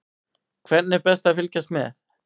Hvernig er best að fylgjast með?